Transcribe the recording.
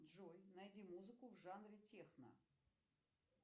джой найди музыку в жанре техно